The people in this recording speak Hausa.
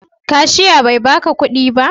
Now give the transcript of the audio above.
Kashia bai ba ka kudi ba?